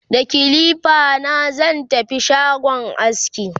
da kilifa na zan tafi shagon aski